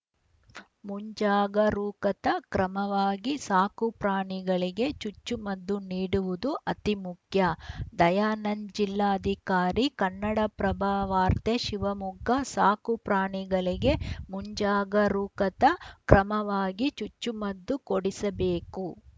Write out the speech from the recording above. ಮುಂಜಾಗರೂಕತಾ ಕ್ರಮವಾಗಿ ಸಾಕು ಪ್ರಾಣಿಗಳಿಗೆ ಚುಚ್ಚುಮದ್ದು ನೀಡುವುದು ಅತೀ ಮುಖ್ಯ ದಯಾನಂದ್‌ ಜಿಲ್ಲಾಧಿಕಾರಿ ಕನ್ನಡಪ್ರಭವಾರ್ತೆ ಶಿವಮೊಗ್ಗ ಸಾಕು ಪ್ರಾಣಿಗಳಿಗೆ ಮುಂಜಾಗರೂಕತಾ ಕ್ರಮವಾಗಿ ಚುಚ್ಚುಮದ್ದು ಕೊಡಿಸಬೇಕು